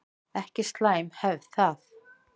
Ekki slæm hefð það.